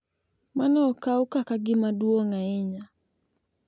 Mano okaw kaka gima duong’ ahinya,